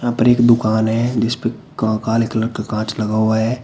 ऊपर एक दुकान है जिसपे का काले कलर का कांच लगा हुआ है।